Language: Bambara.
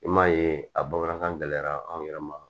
I m'a ye a bamanankan gɛlɛyara anw yɛrɛ ma